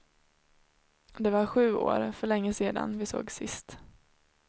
Det var sju år, för länge sedan, vi sågs sist.